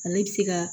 Ale bɛ se ka